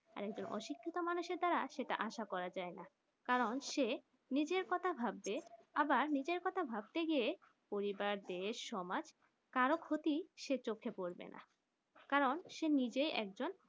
আর একজন অশিক্ষিত মানুষ দ্বারা সেটা আসা করা যায় না কারণ সে নিজের কথা ভাববে আবার নিজের কথা ভাবতে গিয়ে পরিবার দেশ সমাজ কারো ক্ষতি সে চোখে পড়বে না কারণ সেই নিজে একজন